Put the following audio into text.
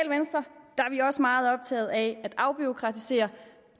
i også meget optaget af at afbureaukratisere